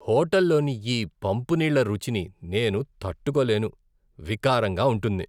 హోటల్లోని ఈ పంపు నీళ్ల రుచిని నేను తట్టుకోలేను, వికారంగా ఉంటుంది.